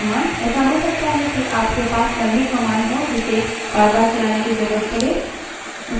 ऐसा हो सकता है कि आप के पास लम्बी command हो जिसे बारबार चलाने की जरूरत पड़े